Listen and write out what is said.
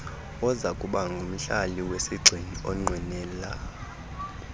ozakubangumhlali wesigxina onqwenela